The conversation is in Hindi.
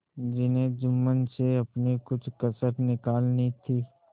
जिन्हें जुम्मन से अपनी कुछ कसर निकालनी थी